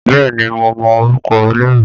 Bẹ́ẹ̀ ni, mo mọ orúkọ ẹlẹ́rìí